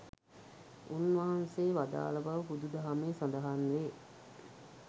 උන්වහන්සේ වදාළ බව බුදු දහමේ සඳහන්වේ.